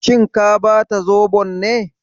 Shin ka bata zobon ne?